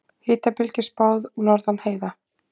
Hitabylgju spáð norðan heiða